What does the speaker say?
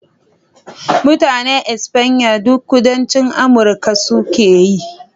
Mutanen Espanya duk Kudancin Amurka su ke yi